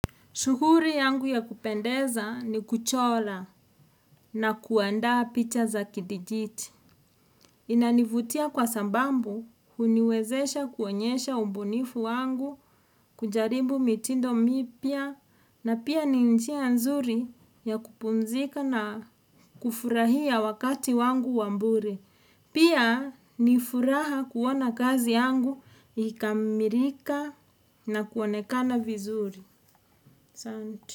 Shukuri yangu ya kupendeza ni kuchola na kuandaa picha za kidijiti. Inanivutia kwa sambambu huniwezesha kuonyesha umbunifu wangu kujaribu mitindo mipya na pia ninjia nzuri ya kupumzika na kufurahia wakati wangu wa mbure. Pia ni furaha kuona kazi yangu ikikamirika na kuonekana vizuri. Asanti.